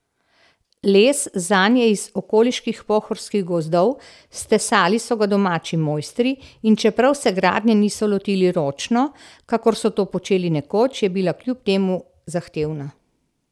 Les zanj je iz okoliških pohorskih gozdov, stesali so ga domači mojstri, in čeprav se gradnje niso lotili ročno, kakor so to počeli nekoč, je bila kljub temu zahtevna.